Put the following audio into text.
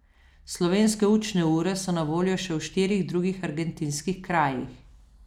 Slovenske učne ure so na voljo še v štirih drugih argentinskih krajih.